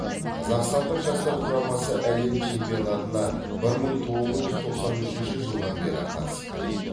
қазақстандық жастар құрамасы әлем чемпионатына бір мың тоғыз жүз тоқсан үшінші жылдан бері қатысып келеді